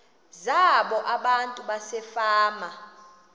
zabo abantu basefama